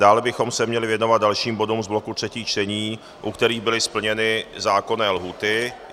Dále bychom se měli věnovat dalším bodům z bloku třetích čtení, u kterých byly splněny zákonné lhůty.